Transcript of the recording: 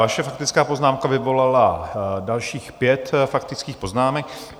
Vaše faktická poznámka vyvolala dalších pět faktických poznámek.